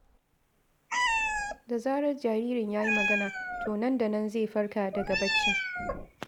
Da zarar jaririn ya ji magana, to nan da nan zai farka daga baccin.